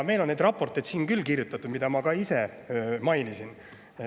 Meil on neid raporteid, mida ma ka ise mainisin, siin kirjutatud küll.